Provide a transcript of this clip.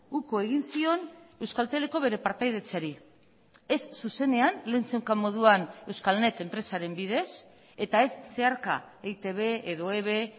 uko egin zion euskalteleko bere partaidetzari ez zuzenean lehen zeukan moduan euskalnet enpresaren bidez eta ez zeharka eitb edo eve